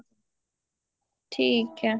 ਠੀਕ ਏ